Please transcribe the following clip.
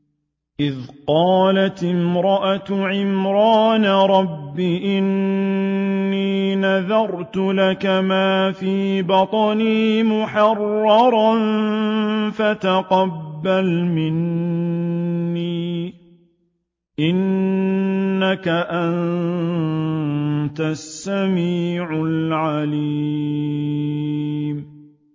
إِذْ قَالَتِ امْرَأَتُ عِمْرَانَ رَبِّ إِنِّي نَذَرْتُ لَكَ مَا فِي بَطْنِي مُحَرَّرًا فَتَقَبَّلْ مِنِّي ۖ إِنَّكَ أَنتَ السَّمِيعُ الْعَلِيمُ